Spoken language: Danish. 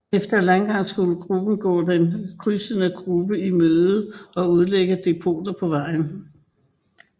Efter landgang skulle gruppen gå den krydsende gruppe i møde og udlægge depoter på vejen